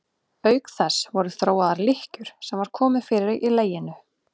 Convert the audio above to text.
Auk þess voru þróaðar lykkjur sem var komið fyrir í leginu.